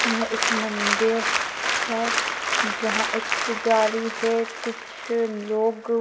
यह एक मंदिर है जहा एक पुजारी है कुछ लोग--